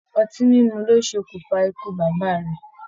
Ọtí mímu ló sokun fà ikú bàbá rẹ̀.